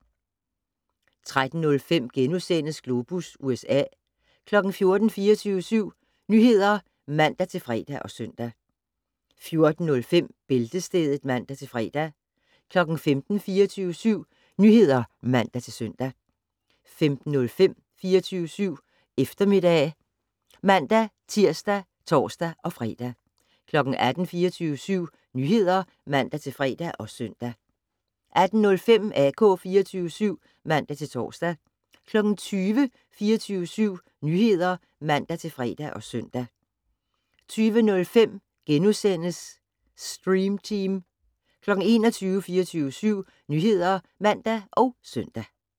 13:05: Globus USA * 14:00: 24syv Nyheder (man-fre og søn) 14:05: Bæltestedet (man-fre) 15:00: 24syv Nyheder (man-søn) 15:05: 24syv Eftermiddag (man-tir og tor-fre) 18:00: 24syv Nyheder (man-fre og søn) 18:05: AK 24syv (man-tor) 20:00: 24syv Nyheder (man-fre og søn) 20:05: Stream Team * 21:00: 24syv Nyheder (man og søn)